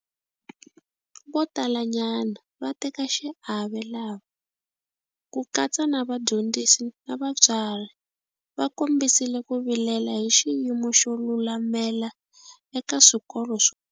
Vo talanyana va vatekaxiave lava - ku katsa na vadyondzisi na vatswari - va kombisile ku vilela hi xiyimo xo lulamela eka swikolo swo.